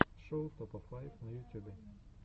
шоу топа файв на ютюбе